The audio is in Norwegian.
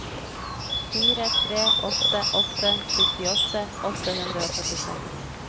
fire tre åtte åtte syttiåtte åtte hundre og førtiseks